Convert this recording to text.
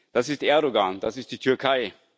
Das ist Erdoğan, das ist die Türkei.